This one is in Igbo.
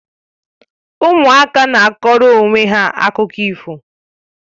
Ụmụaka na akọrọ onwe ha akụkọ ifo